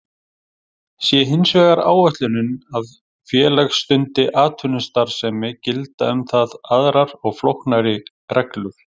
Sé hins vegar ætlunin að félag stundi atvinnustarfsemi gilda um það aðrar og flóknari reglur.